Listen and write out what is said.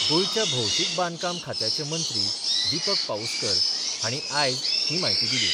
गोयच्या भौशिक बांदकाम खात्याचे मंत्री दिपक पाउस्कर हाणी आयज ही म्हायती दिली.